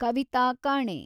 ಕವಿತಾ ಕಾಣೆ